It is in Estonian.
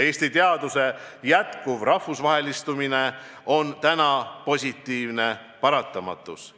Eesti teaduse jätkuv rahvusvahelistumine on praegu positiivne paratamatus.